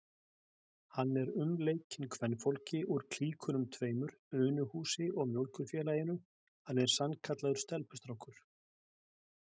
Hann er umleikinn kvenfólki úr klíkunum tveimur, Unuhúsi og Mjólkurfélaginu, hann er sannkallaður stelpustrákur!